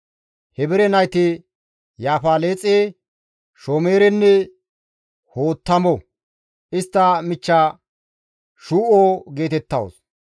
Heebere nayti Yaafaleexe, Shomerenne Hoottamo; istta michcha Shuu7o geetettawus.